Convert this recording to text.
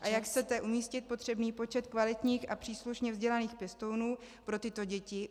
A jak chcete umístit potřebný počet kvalitních a příslušně vzdělaných pěstounů pro tyto děti?